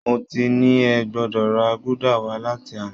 Mo ti ní ẹ gbọdọ̀ ra gúdà wá láti àná!